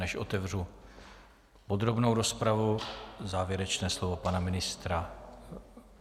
Než otevřu podrobnou rozpravu, závěrečné slovo pana ministra.